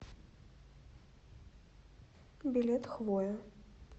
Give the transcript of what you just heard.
билет хвоя